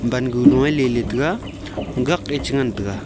bangu lo e lele taga gak ee chi ngantaga.